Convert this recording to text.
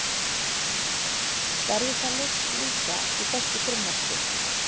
Verður það leyst líka í þessu frumvarpi?